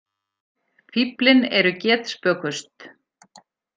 Fíflin eru getspökust.